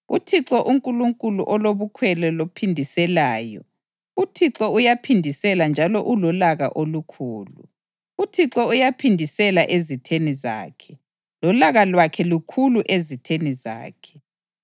UThixo uNkulunkulu olobukhwele lophindiselayo; uThixo uyaphindisela njalo ulolaka olukhulu. UThixo uyaphindisela ezitheni zakhe lolaka lwakhe lukhulu ezitheni zakhe.